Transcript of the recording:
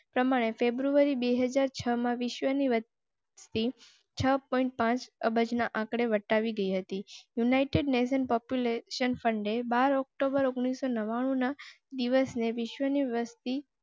પ્રમાણે february બે હજાર છ માં વિશ્વની. અબજના આંકને વટાવી ગઈ હતી. united nation population fund બાર october ઓગણીસ નવના દિવસે વિશ્વની વસતિ